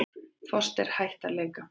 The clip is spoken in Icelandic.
Foster hætt að leika